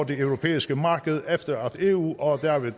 det europæiske marked efter at eu og derved